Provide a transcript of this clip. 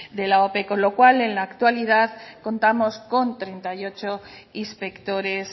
de la ope con lo cual en la actualidad contamos con treinta y ocho inspectores